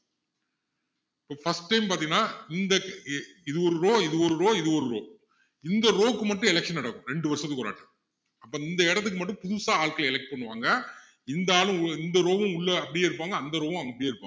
இப்போ first time பாத்திங்கன்னா இந்த இ~இது ஒரு row இது ஒரு row இது ஒரு row இந்த row க்கு மட்டும் election நடக்கும் ரெண்டு வருஷத்துக்கு ஒருவாட்டி அப்போ இந்த இடத்துக்கு மட்டும் புதுசா ஆட்கள் elect பண்ணுவாங்க இந்த ஆளும் இந்த row உம் உள்ள அப்படியே இருப்பாங்க அந்த row உம் அப்படியே இருப்பாங்க